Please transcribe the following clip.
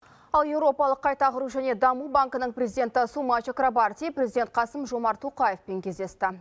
ал еуропалық қайта құру және даму банкінің президенті сума чакрабарти президент қасым жомарт тоқаевпен кездесті